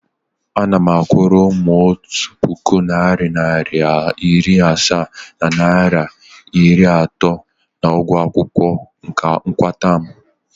Ana m akwụrụ ụmụ otu puku naịra, narị naịra iri asaa na naịra iri atọ n’ụgwọ akwụkwọ kwa taam.